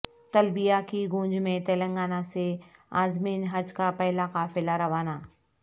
تلبیہ کی گونج میں تلنگانہ سے عازمین حج کا پہلا قافلہ روانہ